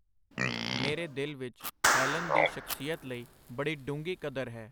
ਮੇਰੇ ਦਿਲ ਵਿਚ ਹੈਲਨ ਦੀ ਸ਼ਖਸੀਅਤ ਲਈ ਬੜੀ ਡੂੰਘੀ ਕਦਰ ਹੈ.